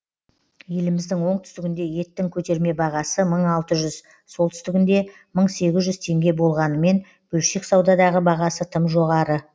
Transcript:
еліміздің оңтүстігінде еттің көтерме бағасы мың алты жүз солтүстігінде мың сегіз жүз теңге болғанымен бөлшек саудадағы бағасы тым жоғары